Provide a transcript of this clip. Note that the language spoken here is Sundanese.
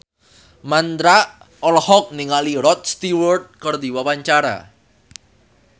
Mandra olohok ningali Rod Stewart keur diwawancara